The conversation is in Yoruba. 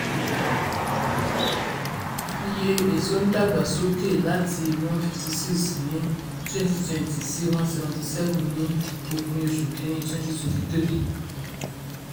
iye èso ń dàgbà sókè láti one fifty six ní twenty twenty sí one seventy seven ní òpin oṣù kìíní twenty twenty three.